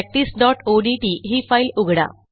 practiceओडीटी ही फाईल उघडा